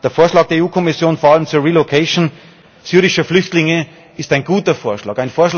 Der Vorschlag der EU Kommission, vor allem zur Verteilung syrischer Flüchtlinge, ist ein guter Vorschlag.